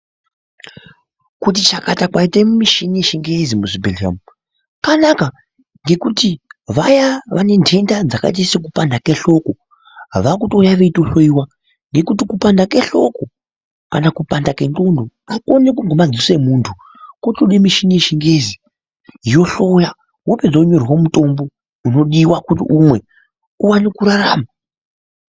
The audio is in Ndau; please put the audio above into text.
Kuti chakata kwaite mishini yechingezi muzvibhehlera umu kwanaka ngekuti vaya vane ntenda dzakaita sekupanda kwehloko vakutouya veitohloyiwa ngekuti kupanda kwehloko kana kupanda kwendxondo akuoneki ngemadziso emuntu kotode mishini yechingezi yohloya wopedza wonyorerwa mutombo unodiwa kuti umwe uwane kurarama.